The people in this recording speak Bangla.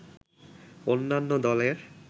অন্যান্য দলের